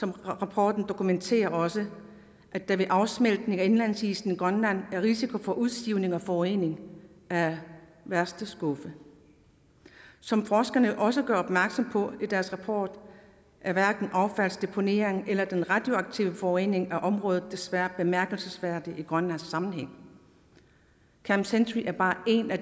rapporten dokumenterer også at der ved afsmeltning af indlandsisen i grønland er risiko for udsivning og forurening af værste skuffe som forskerne også gør opmærksom på i deres rapport er hverken affaldsdeponeringen eller den radioaktive forurening af området desværre bemærkelsesværdig i grønlandsk sammenhæng camp century er bare et af